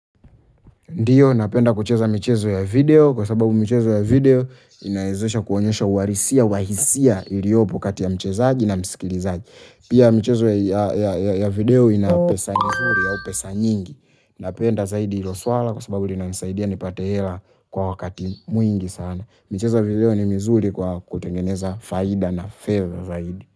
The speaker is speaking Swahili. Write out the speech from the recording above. Ndio, napenda kucheza michezo ya video, kwa sababu michezo ya video inawezesha kuonyesha uhalisia, wa hisia iliopo kati ya mchezaji na msikilizaji. Pia michezo ya video ina pesa nzuri au pesa nyingi, napenda zaidi hilo swala kwa sababu linanisaidia nipate hela kwa wakati mwingi sana. Michezo ya video ni mizuri kwa kutengeneza faida na favor zaidi.